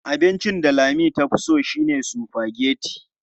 Abincin da Lami tafi so shine sufageti.